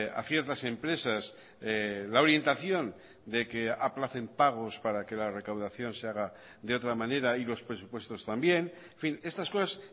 a ciertas empresas la orientación de que aplacen pagos para que la recaudación se haga de otra manera y los presupuestos también en fin estas cosas